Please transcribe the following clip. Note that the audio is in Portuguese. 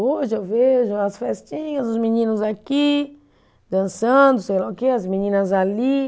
Hoje eu vejo as festinhas, os meninos aqui, dançando, sei lá o quê, as meninas ali.